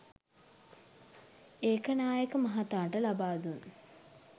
ඒකනායක මහතාට ලබාදුන්